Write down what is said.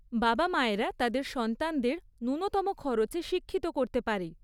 বাবা মায়েরা তাদের সন্তানদের ন্যূনতম খরচে শিক্ষিত করতে পারে।